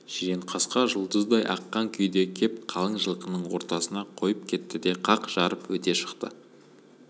жиренқасқа жұлдыздай аққан күйде кеп қалың жылқының ортасына қойып кетті де қақ жарып өте шықты